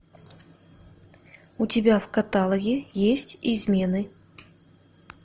у тебя в каталоге есть измены